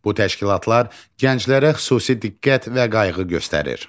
Bu təşkilatlar gənclərə xüsusi diqqət və qayğı göstərir.